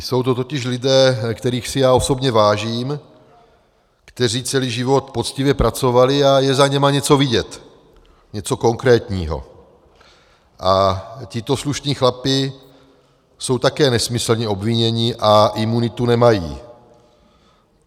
Jsou to totiž lidé, kterých si já osobně vážím, kteří celý život poctivě pracovali, a je za nimi něco vidět, něco konkrétního, a tito slušní chlapi jsou také nesmyslně obviněni a imunitu nemají.